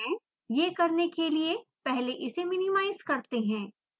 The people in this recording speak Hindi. यह करने के लिए पहले इसे मिनिमाइज़ करते हैं